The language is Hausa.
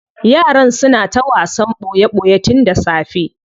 Yaran suna ta wasan boye boye tun da safe.